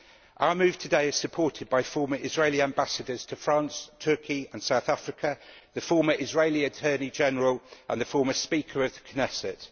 Our move today is supported by former Israeli Ambassadors to France, Turkey and South Africa, the former Israeli Attorney General and the former Speaker of the Knesset.